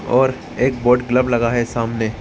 और एक board club लगा है सामने।